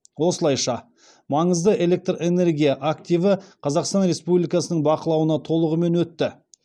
осылайша маңызды электрэнергия активі қазақстан республикасының бақылауына толығымен өтті